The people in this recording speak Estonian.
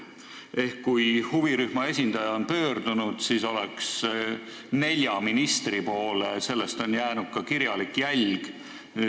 Ehk kui huvirühma esindaja pöördub nelja ministri poole, siis jääks sellest ka kirjalik jälg.